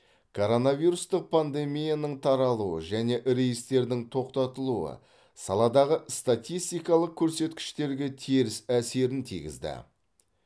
коронавирустық пандемияның таралуы және рейстердің тоқтатылуы саладағы статистикалық көрсеткіштерге теріс әсерін тигізді